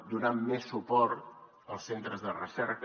donant més suport als centres de recerca